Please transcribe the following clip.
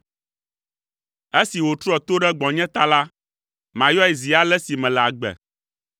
Esi wòtrɔ to ɖe gbɔnye ta la, mayɔe zi ale si mele agbe.